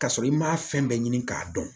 Ka sɔrɔ i m'a fɛn bɛɛ ɲini k'a dɔn